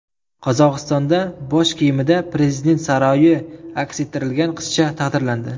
Qozog‘istonda bosh kiyimida prezident saroyi aks ettirilgan qizcha taqdirlandi.